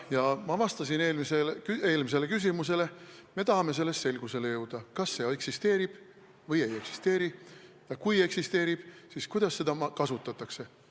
Jah, ma vastasin eelmisele küsimusele, et me tahame selgusele jõuda, kas see eksisteerib või ei eksisteeri ja kui eksisteerib, siis kuidas seda kasutatakse.